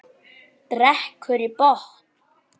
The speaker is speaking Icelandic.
Drekkur í botn.